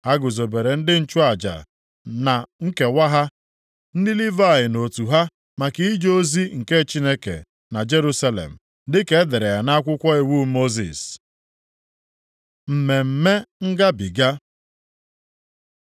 Ha guzobere ndị nchụaja na nkewa ha, ndị Livayị nʼotu ha maka ije ozi nke Chineke na Jerusalem, dịka e dere ya nʼakwụkwọ iwu Mosis. Mmemme Ngabiga